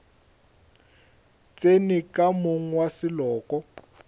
tsene ka monga wa seloko